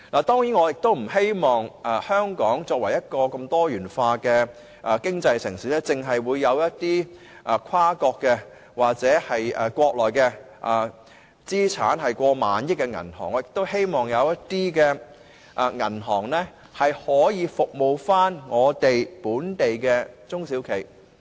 當然，香港作為一個多元化經濟的城市，我們不希望看到只有跨國或國內資產過萬億元的銀行在此經營，我們亦希望有其他銀行能服務本地的中小企。